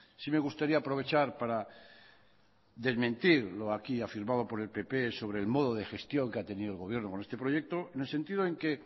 sí me gustaría aprovechar para desmentir lo aquí afirmado por el pp sobre el modo de gestión que ha tenido el gobierno con este proyecto en el sentido en que